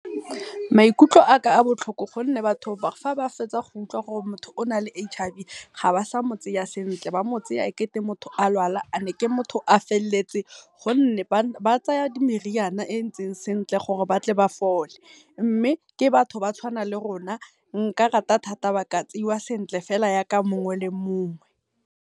Maikutlo a ka a botlhoko gonne batho fa ba fetsa go utlwa gore o na le H_I_V ga ba sa mo tseya sentle. Ba mo tseya ekete motho a lwala ane ke motho a felletse, gonne ba tsaya meriana e entseng sentle gore ba tle ba fole. Mme ke batho ba tshwanang le rona, nka rata thata ga ba ka tseiwa sentle fela yaka mongwe le mongwe.